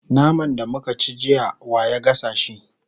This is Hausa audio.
naman da muka ci jiya wa ya gasa shi?